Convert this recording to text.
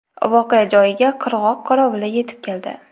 Voqea joyiga qirg‘oq qorovuli yetib keldi.